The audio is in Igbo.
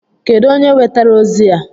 Kedụ onye wetara ozi a?